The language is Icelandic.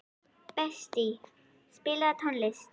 Betsý, spilaðu tónlist.